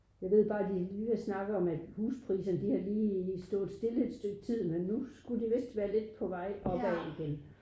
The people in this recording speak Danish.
Jeg ved bare de lige har snakket om at huspriserne de har lige stået stille et stykke tid men nu skulle de vist være lidt på vej op igen